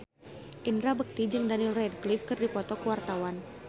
Indra Bekti jeung Daniel Radcliffe keur dipoto ku wartawan